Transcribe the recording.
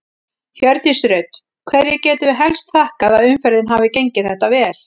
Hjördís Rut: Hverju getum við helst þakkað að umferðin hafi gengið þetta vel?